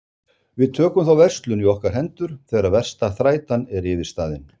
Við tökum þá verslun í okkar hendur þegar versta þrætan er yfirstaðin.